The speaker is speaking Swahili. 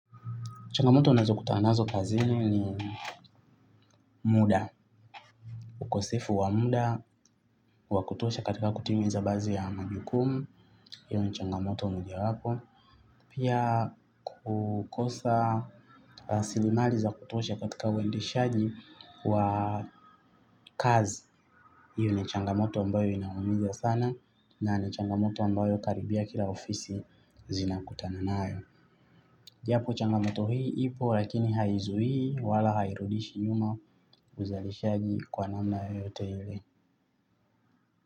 Changamoto unazokutana nazo kazi ni muda. Ukosefu wa muda wakutosha katika kutimiza badhi ya majukumu. Hiyo ni changamoto mojawapo. Pia kukosa rasirimali za kutosha katika uendeshaji wa kazi. Hiyo ni changamoto ambayo inaumiza sana na ni changamoto ambayo karibia kila ofisi zinakutana nayo. Japo changamato hii ipo lakini haizuii wala hairudishi nyuma uzalishaji kwa namna yote ile.